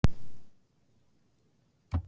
Þau ræddu líka um skipulag og stærð grunnskólans.